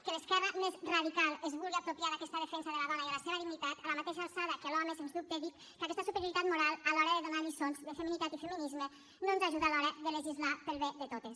que l’esquerra més radical es vulgui apropiar d’aquesta defensa de la dona i de la seva dignitat a la mateixa alçada que l’home sens dubte dic que aquesta superioritat moral a l’hora de donar lliçons de feminitat i feminisme no ens ajuda a l’hora de legislar per al bé de totes